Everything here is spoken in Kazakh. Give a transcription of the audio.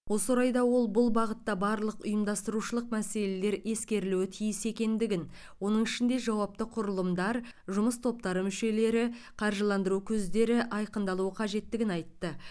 осы орайда ол бұл бағытта барлық ұйымдастырушылық мәселелер ескерілуі тиіс екендігін оның ішінде жауапты құрылымдар жұмыс топтары мүшелері қаржыландыру көздері айқындалу қажеттігін айтты